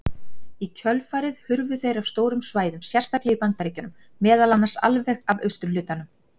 Í kjölfarið hurfu þeir af stórum svæðum, sérstaklega í Bandaríkjunum meðal annars alveg af austurhlutanum.